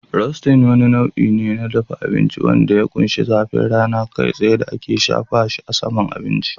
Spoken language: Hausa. Roasting wani nau'i ne na dafa abinci wanda ya ƙunshi zafin rana kai tsaye da ake shafa saman abinci